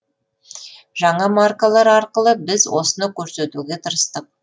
жаңа маркалар арқылы біз осыны көрсетуге тырыстық